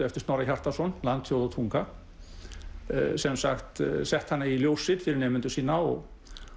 eftir Snorra Hjartarson Land þjóð og tunga sett hana í ljósrit fyrir nemendur sína og